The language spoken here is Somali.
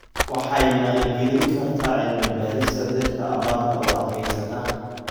Waxay maalgelin kartaa cilmi-baarista dhirta abaarta u adkeysata.